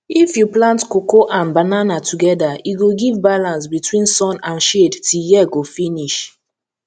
if you plant cocoa and banana together e go give balance between sun and shade till year go finish